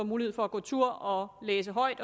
mulighed for at gå tur og læse højt